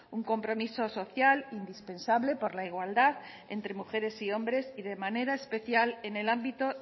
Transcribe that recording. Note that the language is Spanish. un compromiso social indispensable por la igualdad entre mujeres y hombres y de manera especial en el ámbito